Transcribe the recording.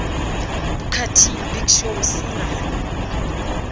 booker t big show cena